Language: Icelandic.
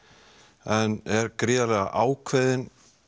en er gríðarlega ákveðin